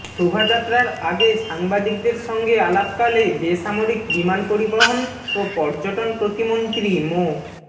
শোভাযাত্রার আগে সাংবাদিকদের সঙ্গে আলাপকালে বেসামরিক বিমান পরিবহন ও পর্যটন প্রতিমন্ত্রী মো